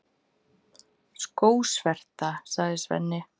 Skósverta, sagði Svenni.